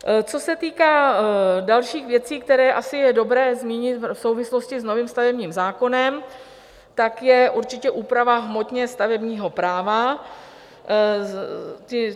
Co se týká dalších věcí, které je asi dobré zmínit v souvislosti s novým stavebním zákonem, tak je určitě úprava hmotně stavebního práva.